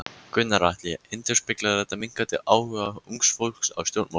Gunnar Atli: Endurspeglar þetta minnkandi áhuga ungs fólks á stjórnmálum?